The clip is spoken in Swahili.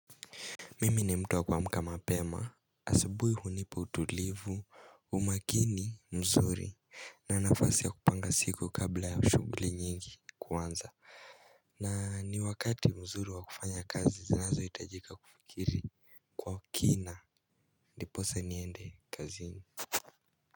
Mimi ni mtu wa kuamka mapema asabui hunipa utulivu umakini mzuri na nafasi ya kupanga siku kabla ya ushugulo nyingi kuanza na ni wakati mzuri wa kufanya kazi zinazo itajika kufikiri kwa kina ndiposa niende kaziini.